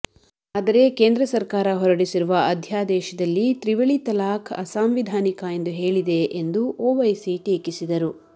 ಆದರೆ ಕೇಂದ್ರ ಸರಕಾರ ಹೊರಡಿಸಿರುವ ಅಧ್ಯದೇಶದಲ್ಲಿ ತ್ರಿವಳಿ ತಲಾಕ್ ಅಸಾಂವಿಧಾನಿಕ ಎಂದು ಹೇಳಿದೆ ಎಂದು ಓವೈಸಿ ಟೀಕಿಸಿದರು